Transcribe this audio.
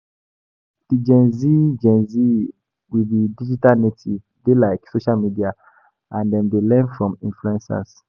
Di Gen Z Gen Z we be digital native dey like social media and dem dey learn from influencers